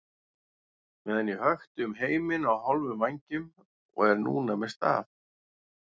meðan ég hökti um heiminn á hálfum vængjum og er núna með staf.